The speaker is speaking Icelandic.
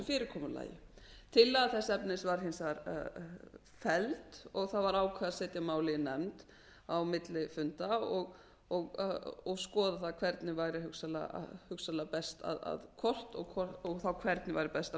fyrirkomulagi tillaga þess efnis var hins vegar felld og það var ákveðið að setja málið í nefnd á milli funda og skoða það hvernig væri hugsanlega best að hvort og þá hvernig væri best að